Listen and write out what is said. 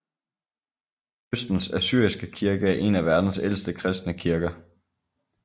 Østens Assyriske Kirke er en af verdens ældste kristne kirker